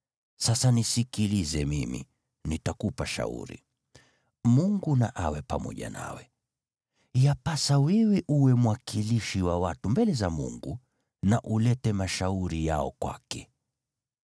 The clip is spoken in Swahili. Sasa nisikilize mimi, nitakupa shauri, naye Mungu na awe pamoja nawe. Yapasa wewe uwe mwakilishi wa watu mbele za Mungu na ulete mashauri yao kwake.